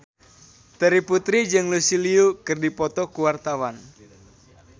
Terry Putri jeung Lucy Liu keur dipoto ku wartawan